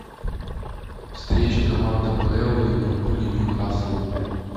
встреча команд апл ливерпуль и ньюкасл